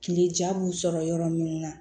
Kile jan b'u sɔrɔ yɔrɔ min na